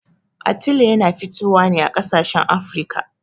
Atile yana fitowa ne a ƙasashen Afirka.